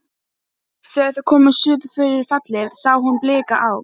Þegar þau komust suður fyrir fellið sá hún blika á